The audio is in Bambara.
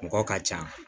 Mɔgɔ ka can